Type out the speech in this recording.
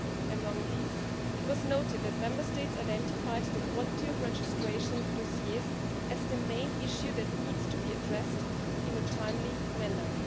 Among these, it was noted that Member States identified the quality of registration dossiers as the main issue that needs to be addressed in a timely manner.